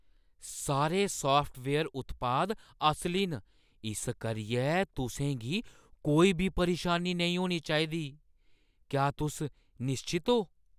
सारे साफ्टवेयर उत्पाद असली न इस करियै तुसें गी कोई बी परेशानी नेईं होना चाहिदी। क्या तुस निश्चत ओ?